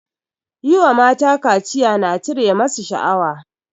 Yi wa mata kaciya na cire masu shaawa